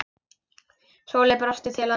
Sóley brosti til hans.